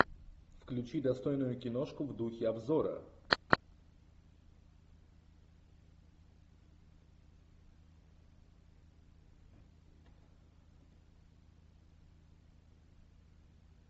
включи достойную киношку в духе обзора